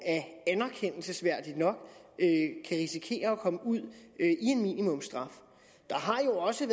anerkendelsesværdigt nok kan risikere at komme ud i en minimumsstraf der har jo også